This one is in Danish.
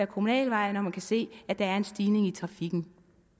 kommunale veje når man kan se at der er en stigning i trafikken